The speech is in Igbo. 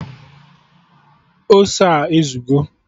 Ose a ezugo?